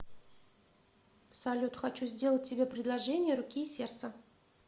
салют хочу сделать тебе предложение руки и сердца